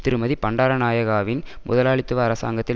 திருமதி பண்டாரநாயகாவின் முதலாளித்துவ அரசாங்கத்தில்